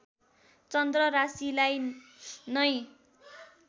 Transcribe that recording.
चन्द्र राशिलाई नै